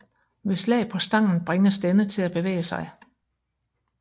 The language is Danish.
Ved slag på stangen bringes denne til at bevæge sig